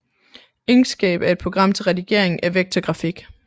Inkscape er et program til redigering af vektorgrafik